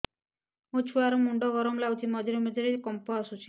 ମୋ ଛୁଆ ର ମୁଣ୍ଡ ଗରମ ଲାଗୁଚି ମଝିରେ ମଝିରେ କମ୍ପ ଆସୁଛି